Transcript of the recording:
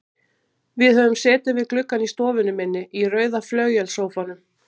Við höfum setið við gluggann í stofunni minni, í rauða flauelssófanum.